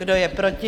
Kdo je proti?